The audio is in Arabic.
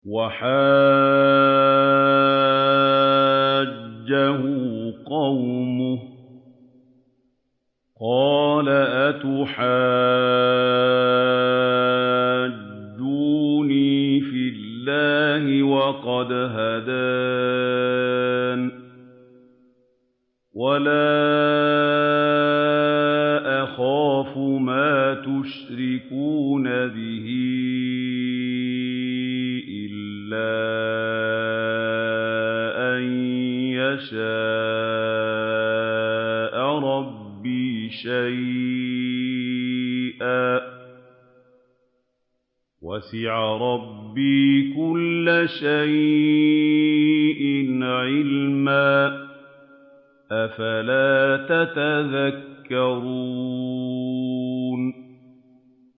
وَحَاجَّهُ قَوْمُهُ ۚ قَالَ أَتُحَاجُّونِّي فِي اللَّهِ وَقَدْ هَدَانِ ۚ وَلَا أَخَافُ مَا تُشْرِكُونَ بِهِ إِلَّا أَن يَشَاءَ رَبِّي شَيْئًا ۗ وَسِعَ رَبِّي كُلَّ شَيْءٍ عِلْمًا ۗ أَفَلَا تَتَذَكَّرُونَ